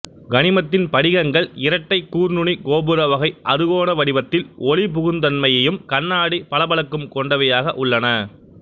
கனிமத்தின் படிகங்கள் இரட்டைக் கூர்நுனி கோபுர வகை அறுகோண வடிவத்தில் ஒளிபுகுந் தன்மையும் கண்ணாடி பளபளப்பும் கொண்டவையாக உள்ளன